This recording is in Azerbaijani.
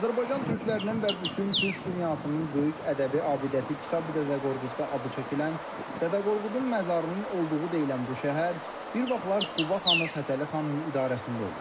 Azərbaycan türklərinin və bütün türk dünyasının böyük ədəbi abidəsi Kitabi-Dədə Qorqudda adı çəkilən Dədə Qorqudun məzarının olduğu deyilən bu şəhər bir vaxtlar Quba xanı Fətəli xanın idarəsində olub.